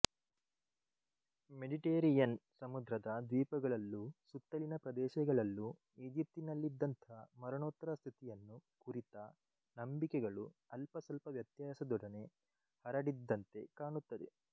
Mediterranean ಸಮುದ್ರದ ದ್ವೀಪಗಳಲ್ಲೂ ಸುತ್ತಲಿನ ಪ್ರದೇಶಗಳಲ್ಲೂ ಈಜಿಪ್ಟಿನಲ್ಲಿದ್ದಂಥ ಮರಣೋತ್ತರ ಸ್ಥಿತಿಯನ್ನು ಕುರಿತ ನಂಬಿಕೆಗಳು ಅಲ್ಪಸಲ್ಪ ವ್ಯತ್ಯಾಸದೊಡನೆ ಹರಡಿದ್ದಂತೆ ಕಾಣುತ್ತದೆ